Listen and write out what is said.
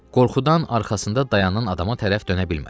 Qorxudan arxasında dayanan adama tərəf dönə bilmədi.